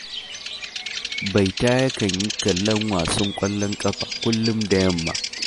Baita yakan yi kallon wasan ƙwallon ƙafa kullum da yamma